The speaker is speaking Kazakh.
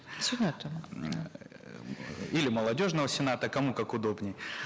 сената м эээ или молодежного сената кому как удобнее